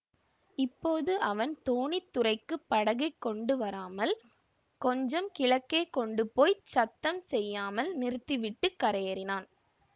இப்போது அவன் தோணித் துறைக்கு படகைக் கொண்டு வராமல் கொஞ்சம் கிழக்கே கொண்டு போய் சத்தம் செய்யாமல் நிறுத்திவிட்டுக் கரையேறினான்